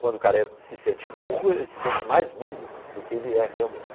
Quando o careca se sente burro, ele se sente mais burro do que ele é realmente.